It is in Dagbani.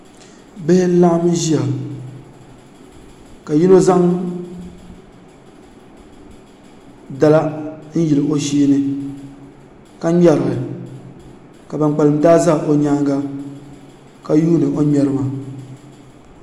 bihi n-laɣim ʒia ka yino zaŋ dala n-yili o shee ni ka ŋmeri li ka ban kpalim daa za o nyaanga ka yuuni o n-ŋmeri maa